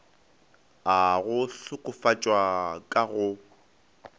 a go hlokofatšwa ka go